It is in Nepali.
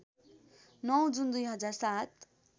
९ जुन २००७